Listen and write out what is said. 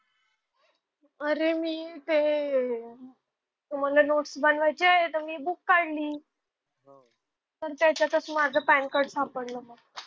अरे मी ते मला नोट्स बनवायच्या आहेत तर मी बुक काढली. तर त्याच्यातच माझं पॅन कार्ड सापडलं.